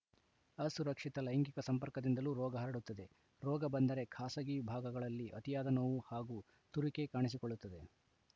ಅಸುರಕ್ಷಿತ ಲೈಂಗಿಕ ಸಂಪರ್ಕದಿಂದಲೂ ರೋಗ ಹರಡುತ್ತದೆ ರೋಗ ಬಂದರೆ ಖಾಸಗಿ ಭಾಗಗಳಲ್ಲಿ ಅತಿಯಾದ ನೋವು ಹಾಗೂ ತುರಿಕೆ ಕಾಣಿಸಿಕೊಳ್ಳುತ್ತದೆ